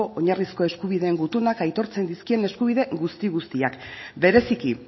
oinarrizko eskubideen gutunak aitortzen dizkien eskubide guzti guztiak bereziki